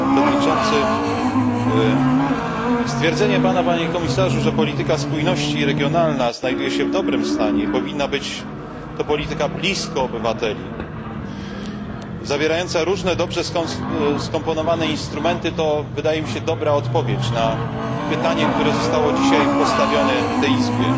Panie przewodniczący! Stwierdzenie pana, panie komisarzu, że polityka spójności i regionalna znajduje się w dobrym stanie i powinna być to polityka blisko obywateli, zawierająca różne, dobrze skomponowane instrumenty, to wydaje mi się dobra odpowiedź na pytanie, które zostało dzisiaj postawione w tej Izbie.